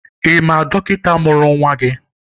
Ị ma dọkịta mụrụ nwa gị?